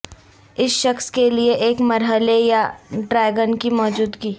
اس شخص کے لئے ایک مرحلے یا ٹریگن کی موجودگی